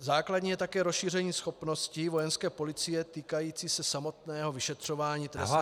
Základní je také rozšíření schopnosti Vojenské policie týkající se samotného vyšetřování trestných činů -